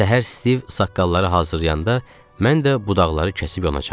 Səhər Stiv saqqalları hazırlayanda, mən də budaqları kəsib yonacaqdım.